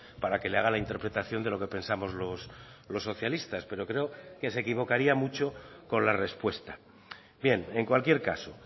para que le haga la interpretación de lo que pensamos los socialistas pero creo que se equivocaría mucho con la respuesta bien en cualquier caso